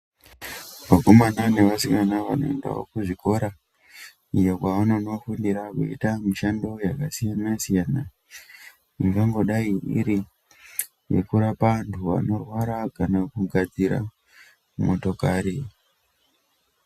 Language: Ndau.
Vakomana neasikana vanoendawo kuzvikora, iyo kwa anofundira veita mishando yaksiyana-siyana, ingangodai iri yekurapa antu anorwara kana kugadzira motokari.